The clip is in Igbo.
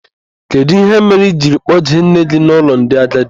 Kedụ ihe mere I jiri kpọjee nne gị n'ụlọ ndị agadi?